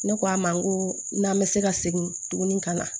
Ne k'a ma n ko n'an bɛ se ka segin tuguni ka na